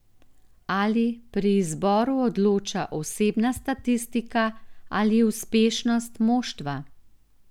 Ali pri izboru odloča osebna statistika ali uspešnost moštva?